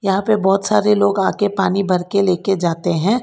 यहां पे बहोत सारे लोग आके पानी भर के लेके जाते हैं।